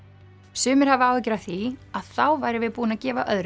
sumir hafa áhyggjur af því að þá værum við búin að gefa öðrum